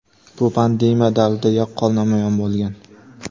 bu pandemiya davrida yaqqol namoyon bo‘lgan.